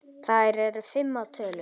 Þær eru fimm að tölu.